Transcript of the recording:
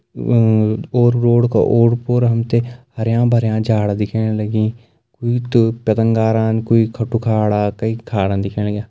अ- और रोड का ओर पोर हम ते हरयां भरयां झाड़ दिखेण लगीं कुई त पतंगारान कुई खटुखाड़ा कई खाड़ा दिखेण लग्यां।